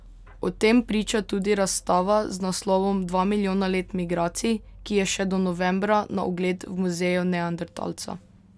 O tem priča tudi razstava z naslovom Dva milijona let migracij, ki je še do novembra na ogled v Muzeju neandertalca.